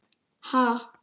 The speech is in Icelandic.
Ha?